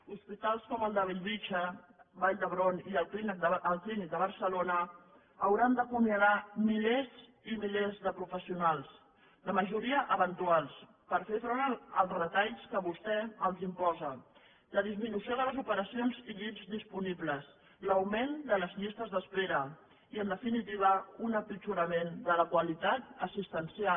hospitals com el de bellvitge vall d’hebron i el clínic de barcelona hauran d’acomiadar milers i milers de professionals la majoria eventuals per fer front als retalls que vostè els imposa la disminució de les operacions i llits disponibles l’augment de les llistes d’espera i en definitiva un empitjorament de la qualitat assistencial